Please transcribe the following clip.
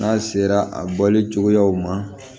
N'a sera a bɔli cogoyaw ma